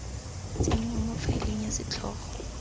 tsenngwa mo faeleng ya setlhogo